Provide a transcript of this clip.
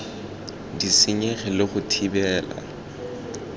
di senyege le go thibela